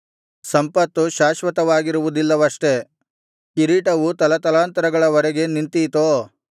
ಸಂಪತ್ತು ಶಾಶ್ವತವಾಗಿರುವುದಿಲ್ಲವಷ್ಟೆ ಕಿರೀಟವು ತಲತಲಾಂತರಗಳ ವರೆಗೆ ನಿಂತೀತೋ